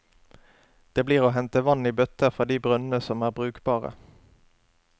Det blir å hente vann i bøtter fra de brønnene som er brukbare.